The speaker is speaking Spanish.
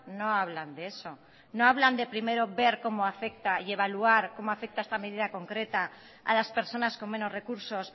no hablan de eso no hablan de primero ver cómo afecta y evaluar cómo afecta esta medida concreta a las personas con menos recursos